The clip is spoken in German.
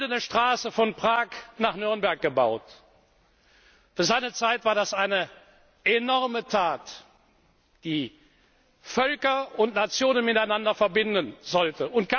Karl IV. hat die Goldene Straße von Prag nach Nürnberg gebaut. Für seine Zeit war das eine enorme Tat, die Völker und Nationen miteinander verbinden